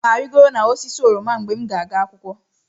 Aga m arịgoro osisi oroma mgbe m ga-aga akwụkwọ.